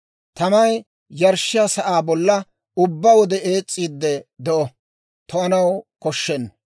Tamay yarshshiyaa sa'aa bolla ubbaa wode ees's'iidde de'o; to'anaw koshshenna.